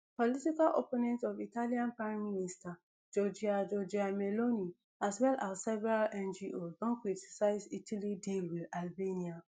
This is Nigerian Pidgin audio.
political opponents of italian prime minister giorgia giorgia meloni as well as several ngos don criticise italy deal wit albania